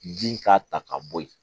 Bin k'a ta ka bɔ ye